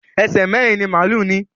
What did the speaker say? Èṣe mérin-ín ni málù ní.